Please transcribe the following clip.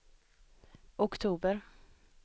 oktober